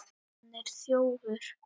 HANN ER ÞJÓFUR!